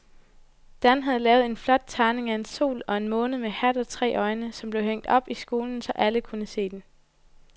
Dan havde lavet en flot tegning af en sol og en måne med hat og tre øjne, som blev hængt op i skolen, så alle kunne se den.